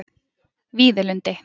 Víðilundi